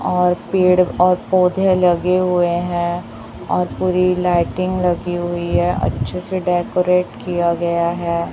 और पेड़ और पौधे लगे हुए हैं और पूरी लाइटिंग लगी हुई है अच्छे से डेकोरेट किया गया है।